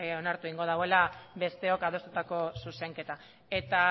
onartu egingo duela besteok adostutako zuzenketa eta